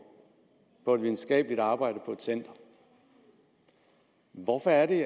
og et videnskabeligt arbejde på et center hvorfor er det